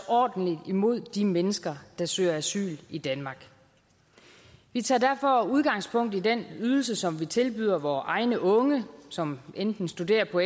ordentligt imod de mennesker der søger asyl i danmark vi tager derfor udgangspunkt i den ydelse som vi tilbyder vore egne unge som enten studerer på